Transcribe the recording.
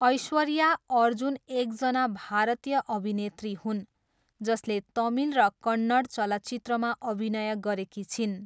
ऐश्वर्या अर्जुन एकजना भारतीय अभिनेत्री हुन् जसले तमिल र कन्नड चलचित्रमा अभिनय गरेकी छिन्।